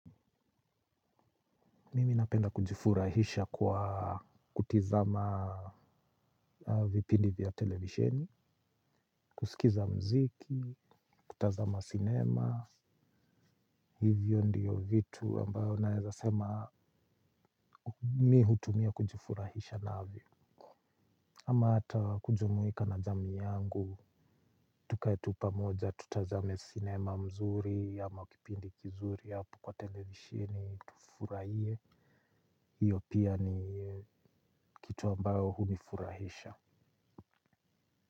Mimi napenda kujifurahisha kwa kutizama vipindi vya televisheni, kusikiza mziki, kutazama cinema, hivyo ndiyo vitu ambayo naezasema mi hutumia kujifurahisha navyo. Ama ata kujumuika na jamii yangu, tukae tu pamoja, tutazame cinema mzuri, ama kipindi kizuri hapo kwa televisheni, tufurahie. Hiyo pia ni kitu ambayo hunifurahisha.